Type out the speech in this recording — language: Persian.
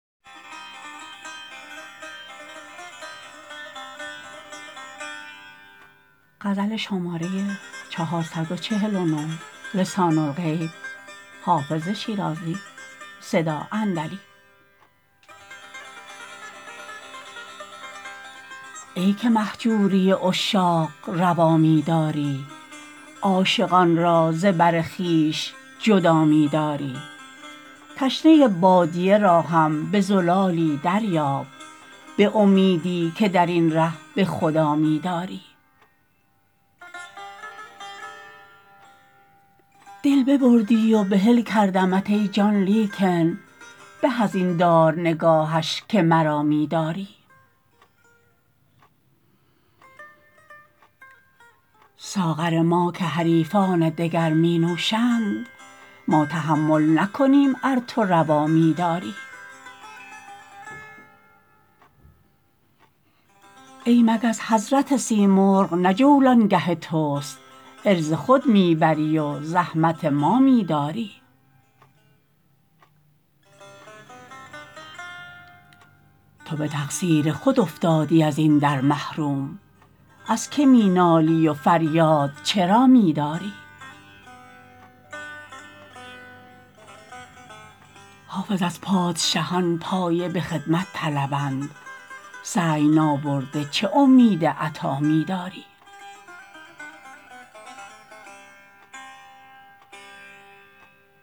ای که مهجوری عشاق روا می داری عاشقان را ز بر خویش جدا می داری تشنه بادیه را هم به زلالی دریاب به امیدی که در این ره به خدا می داری دل ببردی و بحل کردمت ای جان لیکن به از این دار نگاهش که مرا می داری ساغر ما که حریفان دگر می نوشند ما تحمل نکنیم ار تو روا می داری ای مگس حضرت سیمرغ نه جولانگه توست عرض خود می بری و زحمت ما می داری تو به تقصیر خود افتادی از این در محروم از که می نالی و فریاد چرا می داری حافظ از پادشهان پایه به خدمت طلبند سعی نابرده چه امید عطا می داری